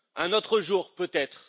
Un autre jour, peut être...